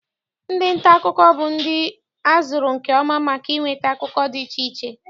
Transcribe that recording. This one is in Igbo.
Ndị nta akụkọ bụ ndị a zụrụ nke ọma maka inweta akụkọ dị iche iche.